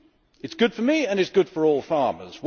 It is good for me, and it is good for all farmers.